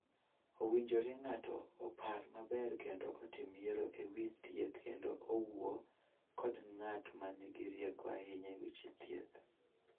Owinjore ng�ato opar maber kendo otim yiero e wi thieth kendo owuo kod ng�at ma nigi rieko ahinya e weche thieth.